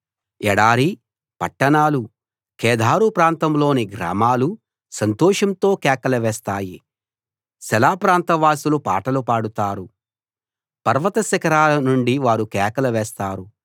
ఎడారీ పట్టణాలూ కేదారు ప్రాంతంలోని గ్రామాలూ సంతోషంతో కేకలు వేస్తాయి సెల ప్రాంతవాసులు పాటలు పాడతారు పర్వతశిఖరాల నుండి వారు కేకలు వేస్తారు